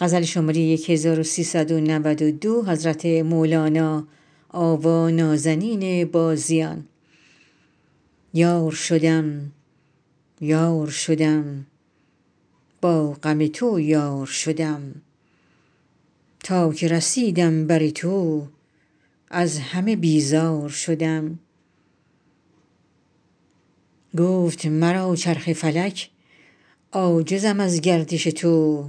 یار شدم یار شدم با غم تو یار شدم تا که رسیدم بر تو از همه بیزار شدم گفت مرا چرخ فلک عاجزم از گردش تو